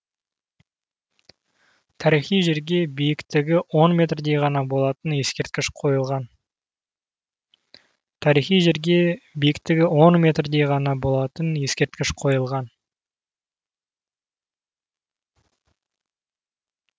тарихи жерге биіктігі он метрдей ғана болатын ескерткіш қойылған